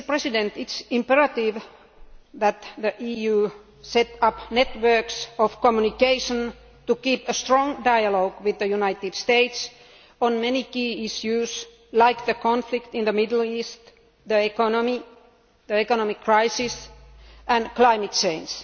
It is imperative that the EU set up networks of communication to keep a strong dialogue with the United States on many key issues, like the conflict in the Middle East, the economic crisis and climate change.